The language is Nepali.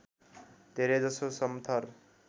धेरै जसो समथर